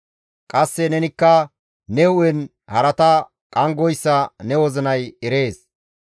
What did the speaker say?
Qasse nenikka ne hu7en harata qanggoyssa ne wozinay erees.